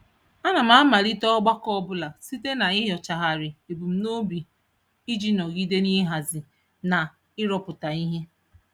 Ana m amalite ọgbakọ ọbụla site n'inyochagharị ebumnobi iji nọgide n'ịhazi na ịrụpụta ihe.